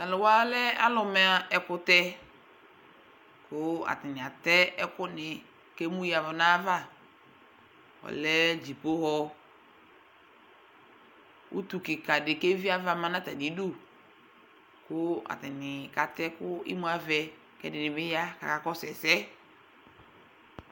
t'alò wa lɛ alo ma ɛkutɛ kò atani atɛ ɛkò ni k'emu ya n'ava ɔlɛ dziƒohɔ utu keka di k'evi ava ma n'atami du kò atani katɛ kò imu avɛ k'ɛdini bi ya k'aka kɔsu ɛsɛ